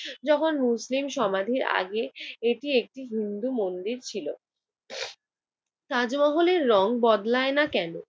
যখন মুসলিম সমাধির আগে এটি একটি হিন্দু মন্দির ছিল। তাজমহলের রং বদলায় না কেন?